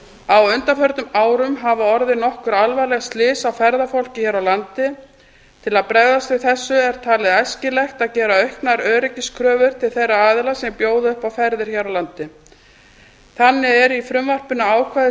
á undanförnum árum hafa orðið nokkur alvarleg slys á ferðafólki hér á landi til að bregðast við þessu er talið æskilegt að gera auknar öryggiskröfur til þeirra aðila sem bjóða upp á ferðir hér á landi þannig eru í frumvarpinu ákvæði